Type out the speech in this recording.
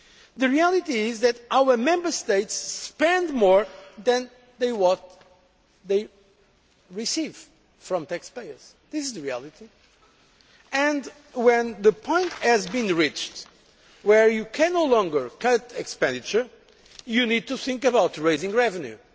The reality is that our Member States spend more than they receive from taxpayers. This is the reality. When the point has been reached where you can no longer cut expenditure, you need to think about raising revenue.